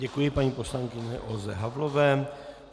Děkuji paní poslankyni Olze Havlové.